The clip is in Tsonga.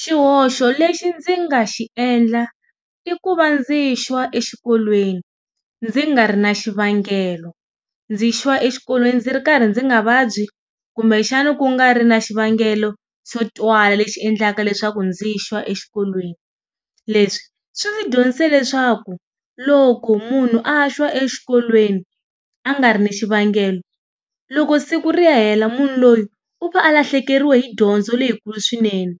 Xihoxo lexi ndzi nga xi endla, i ku va ndzi xwa exikolweni ndzi nga ri na xivangelo. Ndzi xwa exikolweni ndzi ri karhi ndzi nga vabyi kumbexana ku nga ri na xivangelo xo twala lexi endlaka leswaku ndzi xwa exikolweni. Leswi swi ndzi dyondzise leswaku loko munhu a xwa exikolweni a nga ri ni xivangelo, loko siku ri ya hela munhu loyi u va a lahlekeriwe hi dyondzo leyikulu swinene.